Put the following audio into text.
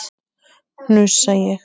hnussa ég.